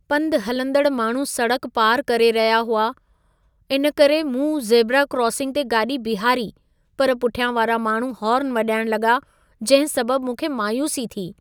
पंधु हलंदड़ माण्हू सड़क पार करे रहिया हुआ, इन करे मूं ज़ेबरा क्रॉसिंग ते गाॾी बीहारी पर पुठियां वारा माण्हू हॉर्न वॼाइणु लॻा जंहिं सबबु मूंखे मायूसी थी।